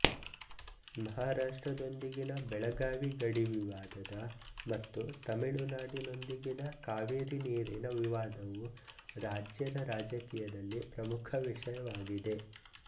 ಮಹಾರಾಷ್ಟ್ರದೊಂದಿಗಿನ ಬೆಳಗಾವಿ ಗಡಿ ವಿವಾದದ ಮತ್ತು ತಮಿಳುನಾಡಿನೊಂದಿಗಿನ ಕಾವೇರಿ ನೀರಿನ ವಿವಾದವು ರಾಜ್ಯದ ರಾಜಕೀಯದಲ್ಲಿ ಪ್ರಮುಖ ವಿಷಯವಾಗಿದೆ